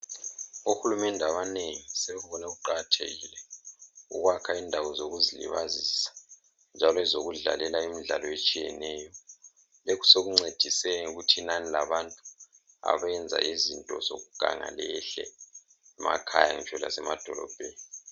Ohulumende abanengi sebebone kuqakathekile ukwakha indawo zokuzilibazisa njalo ezokudlalela imidlalo etshiyeneyo. Lokhu sekuncedise ngokuthi inani labantu abenza izinto zokuganga lehle emakhaya ngitsho lasemadolobheni.